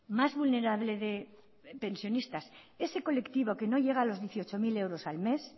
más vulnerable pensionistas ese colectivo que no llega a los dieciocho mil euros al mes